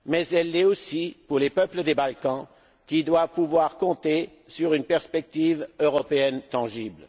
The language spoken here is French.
Elle l'est aussi pour les peuples des Balkans, qui doivent pouvoir compter sur une perspective européenne tangible.